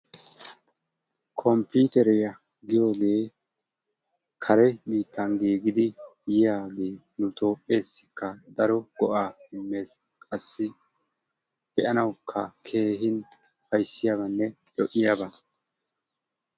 Komppiteriya giyogee kare biittan giigidi yiyagee nu toophpheessikka go7aa immes qassi be7anawukka keehin ufayisdiyabanne lo7iyaba.